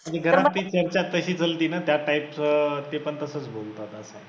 म्हणजे घरात तीस वर्षात तशी त्या type चं ते पण तसंच बोलू पाहतात.